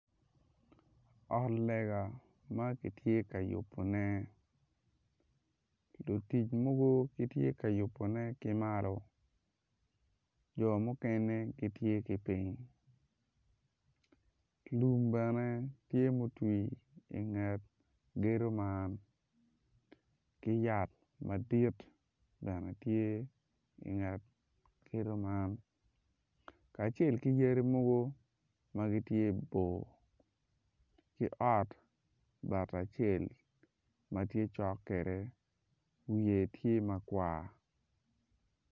Ot lega ma kitye ka yubone lutic mogo gitye ka yubone ki malo jo mukene gitye ki piny lum bene tye mutwi inget gedo man ki yat madit bene tye inget gedo man kacel ki yadi mogo ma gitye bor ki ot bati acel ma tye cok kede wiye tye makwar